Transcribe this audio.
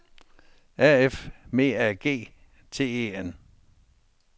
A F M A G T E N